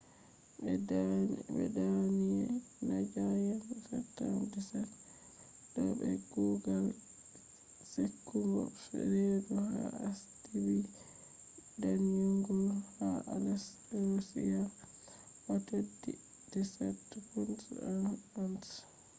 ɓe danyi nadia yende september 17 2007 be kugal sekugo reedu ha asibiti danyungol ha aleisk russia o’ teddi 17 pounds 1 ounce